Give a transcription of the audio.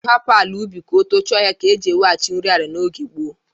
Ịhapụ ala ubi ka o tochie ọhịa ka e ji eweghachi nri ala n'oge gboo.